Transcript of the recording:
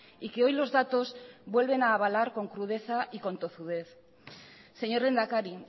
y que hoy los datos vuelven a avalar con crudeza y con tozudez señor lehendakari